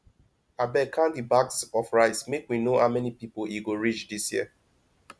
abeg count the bags of rice make we no how many people e go reach dis year